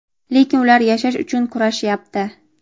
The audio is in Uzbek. lekin ular yashash uchun kurashyapti.